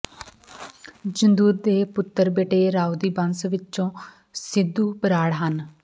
ਜੂੰਦਰ ਦੇ ਪੁਤਰ ਬਟੇਰ ਰਾਉ ਦੀ ਬੰਸ ਵਿਚੋਂ ਸਿੰਧੂ ਬਰਾੜ ਹਨ